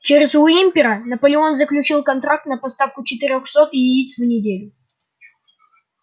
через уимпера наполеон заключил контракт на поставку четырёхсот яиц в неделю